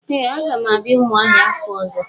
Ee a ga m abia Umuahia afo ozo.